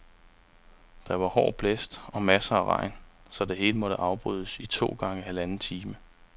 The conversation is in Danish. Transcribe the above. Der var hård blæst og masser af regn, så det hele måtte afbrydes i to gange halvanden time.